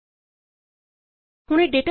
ਹੁਣ ਇਹ database wizard ਖੋਲ ਦਿੰਦਾ ਹੈ